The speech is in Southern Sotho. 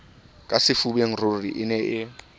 ka sefubeng ruri e ne